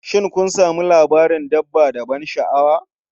Shin kun sami labarin dabba da ban sha'awa?